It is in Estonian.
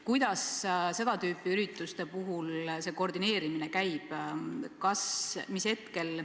Kuidas seda tüüpi ürituste puhul see koordineerimine käib?